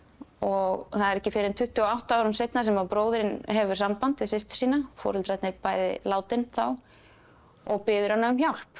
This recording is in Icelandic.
og það er ekki fyrr en tuttugu og átta árum seinna sem að bróðirinn hefur samband við systur sína foreldrarnir bæði látin þá og biður hana um hjálp